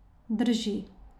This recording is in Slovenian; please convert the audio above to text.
Drži.